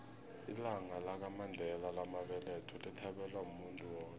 ilanga lamandela lamabeletho lithabelwa muntu woke